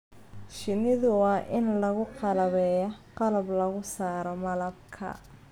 Shinnida waa in lagu qalabeeyaa qalab lagu saaro malabka.